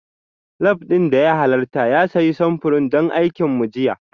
Lab ɗin da ya halarta ya sayi samfurin don aikin mu jiya